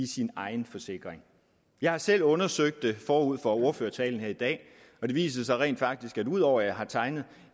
sin egen forsikring jeg har selv undersøgt det forud for ordførertalen her i dag og det viser sig rent faktisk at ud over at jeg har tegnet